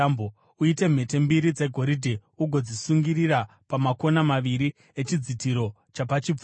Uite mhete mbiri dzegoridhe ugodzisungirira pamakona maviri echidzitiro chapachipfuva.